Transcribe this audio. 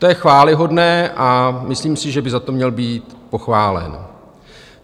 To je chvályhodné a myslím si, že by za to měl být pochválen.